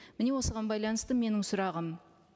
міне осыған байланысты менің сұрағым